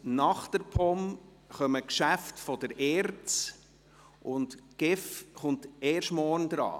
Nach der POM folgen die Geschäfte der ERZ, und die GEF kommt erst morgen dran.